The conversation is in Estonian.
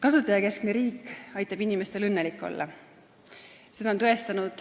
Kasutajakeskne riik aitab inimestel õnnelik olla.